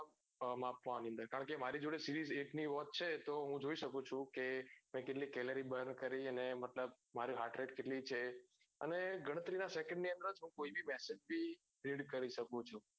માપવાનું અંદર કારણ કે મારી જોડે series eight ની જે watch છે એક નું work છે તો હું જોઈ સકું છું કે મેં કેટલી celory burn કરી અને